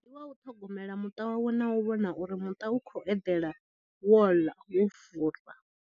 Ndi wa u ṱhogomela muṱa wawe na u vhona uri muṱa u khou eḓela wo ḽa wo fura.